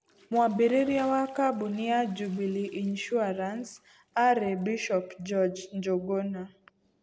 Mwambĩrĩria wa kambuni ya Jubilee Insurance aarĩ Bishop George Njuguna.